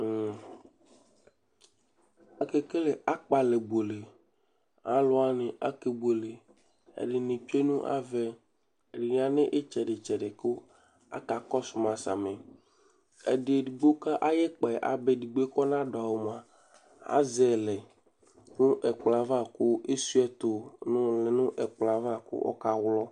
Ake kele akpalɛbuele Aluwani ake buele Ɛdini tsue nu avɛ, ɛdini ya nu itsɛdi itsɛdi ku aka kɔsu mã sãmi Eɖigbo ka ayu ikpɛ ábá eɖigboe ku ɔna du awu mua, azɛyilɛ nu ɛkplɔyɛ ava, ku eshuayi tu nu ɛkplɔ yɛ ãvã ku ɔka wlɔ